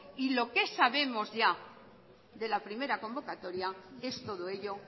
y lo que sabemos ya de la primera convocatoria es todo ello